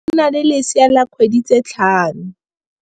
Moagisane wa rona o na le lesea la dikgwedi tse tlhano.